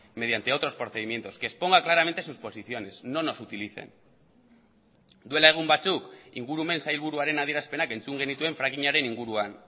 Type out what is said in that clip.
mediante otros procedimientos que exponga claramente sus posiciones no nos utilicen duela egun batzuk ingurumen sailburuaren adierazpenak entzun genituen frackingaren inguruan